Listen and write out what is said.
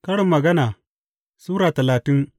Karin Magana Sura talatin